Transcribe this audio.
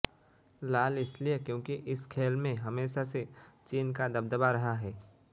लाल इसलिए क्योंकि इस खेल में हमेशा से चीन का दबदबा रहा है